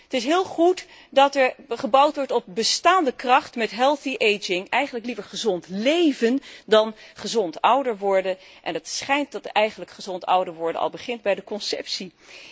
Het is heel goed dat er gebouwd wordt op bestaande kracht met healthy aging eigenlijk liever gezond léven dan gezond ouder worden, en het schijnt dat eigenlijk gezond ouder worden al begint bij de conceptie.